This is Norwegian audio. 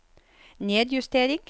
nedjustering